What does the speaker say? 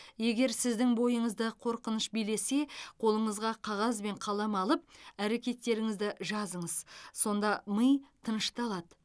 егер сіздің бойыңызды қорқыныш билесе қолыңызға қағаз бен қалам алып әрекеттеріңізді жазыңыз сонда ми тынышталады